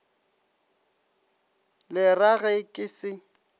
le ra ge ke se